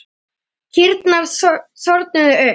Kýrnar þornuðu upp.